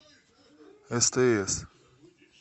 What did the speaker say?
стс